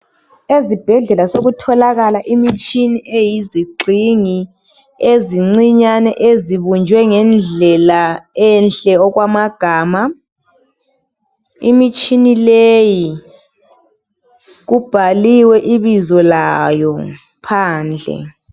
Ezibhedlela sekutholakala imitshini eyizigxingi, ezincinyane. Ezibunjwe ngendlela enhle, okwamagama. Imitshini leyi, kubhaliwe ibizo layo phandle.